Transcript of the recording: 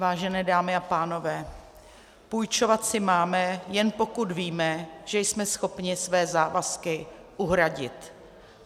Vážené dámy a pánové, půjčovat si máme, jen pokud víme, že jsme schopni své závazky uhradit.